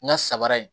N ka sabara ye